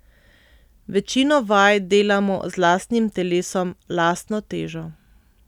Večino vaj delamo z lastnim telesom, lastno težo.